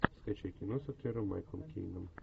скачай кино с актером майклом кейном